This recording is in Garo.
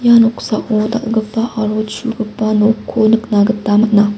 ia noksao dal·gipa aro chugipa nokko nikna gita man·a.